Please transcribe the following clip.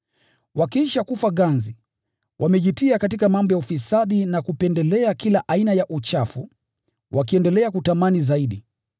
Wakiisha kufa ganzi, wamejitia katika mambo ya ufisadi na kupendelea kila aina ya uchafu, wakiendelea kutamani zaidi.